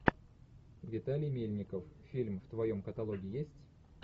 виталий мельников фильм в твоем каталоге есть